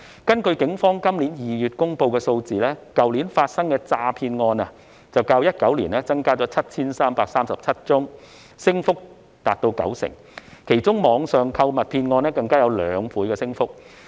根據警方今年2月公布的數字，去年發生的詐騙案較2019年增加 7,337 宗，升幅達到九成，其中網上購物騙案更有兩倍的升幅。